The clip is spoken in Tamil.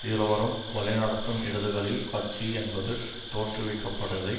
இருவரும் வழிநடத்தும் இடதுகளில் கட்சி என்பது தோற்றுவிக்கப்படதை